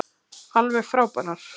Alveg frábærar.